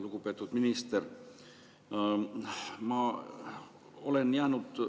Lugupeetud minister!